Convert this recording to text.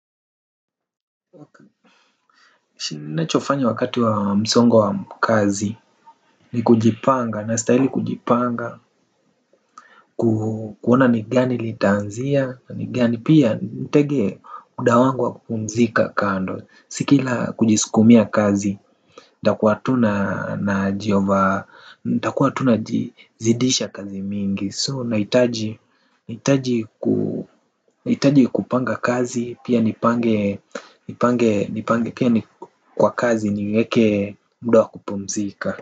Na chofanya wakati wa msongo wa kazi ni kujipanga, na stahili kujipanga. Kuona ni gani litaanzia, ni gani pia nitegee muda wangu wa kupumzika kando. Si kila kujiskumia kazi, takuwa tuna na jiova, ntakuwa tu naji zidisha kazi mingi So naitaji kupanga kazi pia nipange kwa kazi niweke mda wa kupumzika.